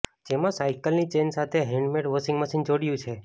જેમાં સાઈકલની ચેઈન સાથે હેન્ડમેડ વોશિંગ મશીન જોડ્યું છે